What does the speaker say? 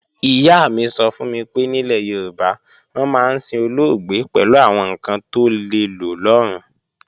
Ìyá mi sọ fún mi pé nílẹ̀ Yorùbá, wọ́n máa ń sin olóògbé pẹ̀lú àwọn ǹkan tó lè lò lọ́run